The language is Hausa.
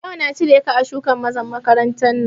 Daga yau na cire ka a shugan mazan makarantan nan!